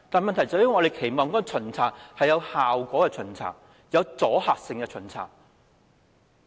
我們期望的巡查是有效果、有阻嚇性的巡查。